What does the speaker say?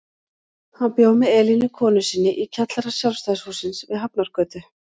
Hann bjó með Elínu konu sinni í kjallara Sjálfstæðishússins við Hafnargötu.